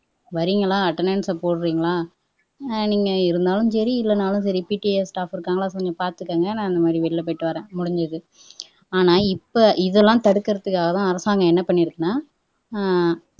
வர்றீங்களா attendance ஐ போடறீங்களா நீங்க இருந்தாலும் சரி இல்லேனாலும் சரி PTA staff இருக்காங்களா கொஞ்சம் பாத்துகோங்க நான் இந்த மாதிரி வெளில போயிட்டு போறேன் முடிஞ்சுது ஆனா இப்போ இதெல்லாம் தடுக்கிறதுக்காகத்தான் அரசாங்கம் என்ன பண்ணியிருக்குன்னா அஹ்